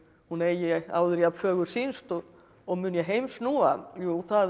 hún eigi áður jafnfögur sýnst og og mun ég heim snúa jú það er